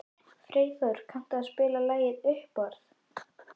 Freyþór, kanntu að spila lagið „Uppboð“?